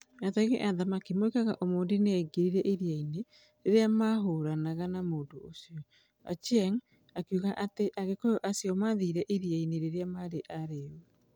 "Ategi a thamaki moigaga Omondi nĩ aingĩrire iria-inĩ rĩrĩa maahũranaga na mũndũ ũcio", Ochieng, akiuga atĩ agĩkũyũ acio maathire iria-inĩ rĩrĩa maarĩ arĩĩu.